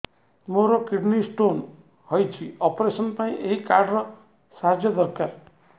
ମୋର kidney stone ହଇଛି operation ପାଇଁ ଏହି କାର୍ଡ ର ସାହାଯ୍ୟ ଦରକାର